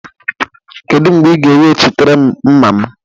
Kedu mgbe ị ga-ewechịtere m mma m?